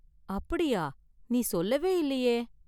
அப்படியா? நீ சொல்லவே இல்லையே!